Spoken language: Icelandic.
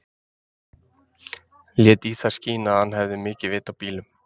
Lét í það skína að hann hefði mikið vit á bílum.